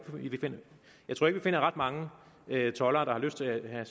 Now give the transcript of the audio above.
vi finder ret mange toldere der har lyst til at have